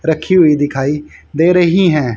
रखी हुई दिखाई दे रही है।